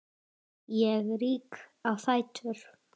Ég rýk á fætur.